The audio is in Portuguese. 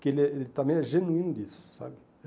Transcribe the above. que ele é ele também é genuíno disso, sabe?